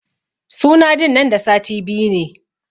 Suna din nan da sati biyu ne.